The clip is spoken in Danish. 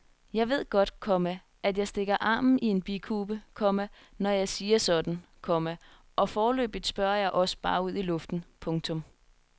Jeg ved godt, komma at jeg stikker armen i en bikube, komma når jeg siger sådan, komma og foreløbig spørger jeg også bare ud i luften. punktum